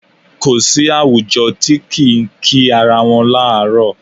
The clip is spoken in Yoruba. Kò sí àwùjọ tí kì í kí ara wọn láàárọ̀.